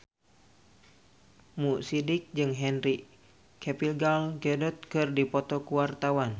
Mo Sidik jeung Henry Cavill Gal Gadot keur dipoto ku wartawan